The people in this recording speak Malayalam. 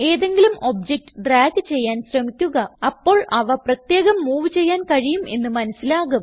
ഏതെങ്കിലും ഒബ്ജക്റ്റ് ഡ്രാഗ് ചെയ്യാൻ ശ്രമിക്കുക അപ്പോൾ അവ പ്രത്യേകം മൂവ് ചെയ്യാൻ കഴിയും എന്ന് മനസിലാകും